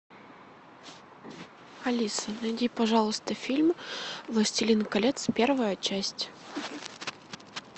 алиса найди пожалуйста фильм властелин колец первая часть